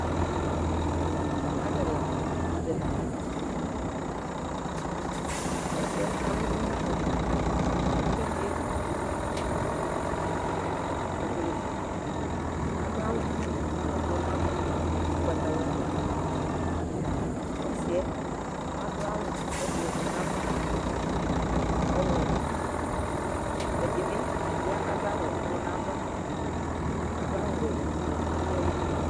Alʋ ɛla dɩ zati Ɔsɩ yɛ avlɛ uvi nʋ adʋkʋ kʋ ɛdɩ yezikuti k kebuele fa Adʋ awʋ ʋblʋ nʋ ava, ʋgbatawla nʋ uti Ɔsɩ yɛ adʋ awʋ ʋblʋ nʋ ava, ɔɣlɔmɔ nʋ uti Ɛdɩ bɩ ya kʋ adʋ awʋ ʋblʋ nʋ ava kʋ adʋ awʋwɛ nʋ uti kʋ adʋ ʋɣɔ nʋ udu